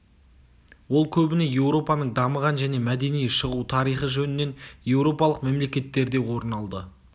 ол көбіне еуропаның дамыған және мәдени шығу тарихы жөнінен еуропалық мемлекеттерде орын алды